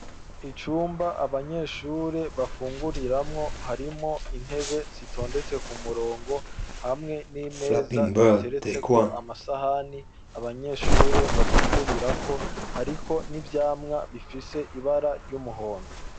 Icumba abanyeshure bafunguriramwo harimo intebe zitondetse ku murongo hamwe n'imeza ziteretse ko amasahani abanyeshuri bafungurirako hariko n'ivyamwa bifise ibara ry'umuhondo.